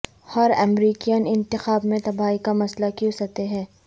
ہر American انتخاب میں تباہی کا مسئلہ کیوں سطح ہے